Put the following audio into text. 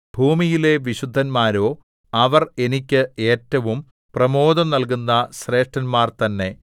ഭൂമിയിലെ വിശുദ്ധന്മാരോ അവർ എനിക്ക് ഏറ്റവും പ്രമോദം നൽകുന്ന ശ്രേഷ്ഠന്മാർ തന്നെ